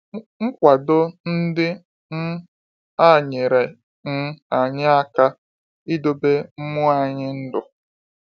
Nkwado ndị um a nyere um anyị aka idobe mmụọ anyị ndụ.